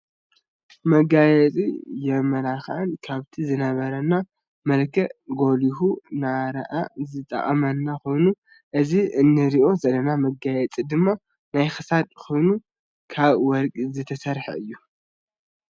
መጋየፅን መመላክዕን ካብቲ ዝነበረና መልክዕ ጎሊሁ ንክረኣ ዝጠቅመና ኮይኑ እዚ እንሪኦ ዘለና መጋየፂ ድማ ናይ ክሳድ ኮይኑ ካብ ወርቂ ዝተሰረሐ እዩ።